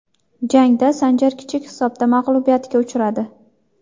Jangda Sanjar kichik hisobda mag‘lubiyatga uchradi.